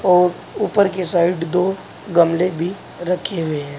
और ऊपर के साइड दो गमले भी रखें हुए हैं।